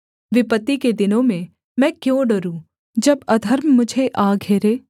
विपत्ति के दिनों में मैं क्यों डरूँ जब अधर्म मुझे आ घेरे